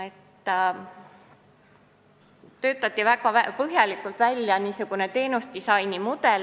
Töötati välja väga põhjalik teenusedisaini mudel.